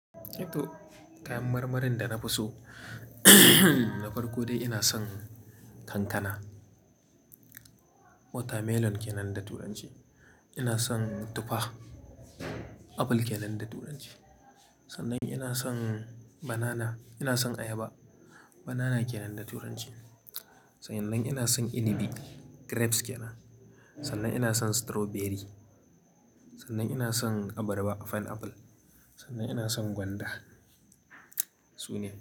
Eh to, kayan marmarin da na fi so da farko dai ina son kankana, watermelon kenan da turanci. Ina son tufa, apple kenan da turanci. Sannan ina son banana, ina son ayaba, banana kenan da turanci. Sa'an nan ina son inibi, grapes kenan. Sannan ina son strawberry. Sannan ina son abarba, pineapple. Sannan ina son gwanda, su ne.